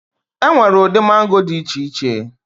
E nwere ụdị mango dị iche iche.